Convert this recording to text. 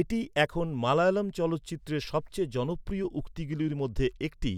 এটি এখন মালয়ালম চলচ্চিত্রের সবচেয়ে জনপ্রিয় উক্তিগুলির মধ্যে একটি